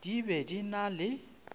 di be di na le